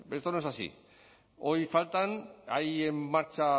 esto no es así hoy faltan hay en marcha